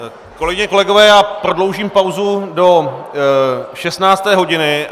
Kolegyně, kolegové, já prodloužím pauzu do 16. hodiny.